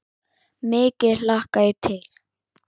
Mikið hlakka ég til.